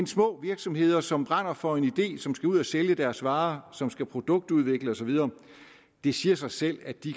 små virksomheder som brænder for en idé som skal ud at sælge deres varer og som skal produktudvikle og så videre det siger sig selv at de